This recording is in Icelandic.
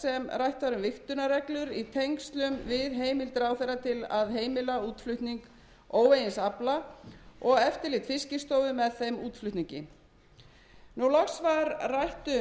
rætt var um vigtunarreglur í tengslum við heimild ráðherra til að heimila útflutning óvegins afla og eftirlit fiskistofu með þeim útflutningi loks var rætt um tæknilegar útfærslur á uppboðsferlinu